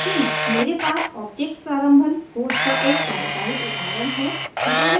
मेरे पास ऑब्जेक्ट प्रारंभन initialization कोड का एक कार्यकारी उदाहरण है